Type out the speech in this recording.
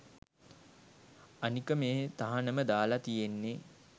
අනික මේ තහනම දාල තියෙන්නේ